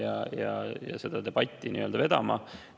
Tema pidi seda debatti vedama.